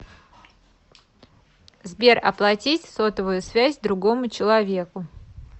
сбер оплатить сотовую связь другому человеку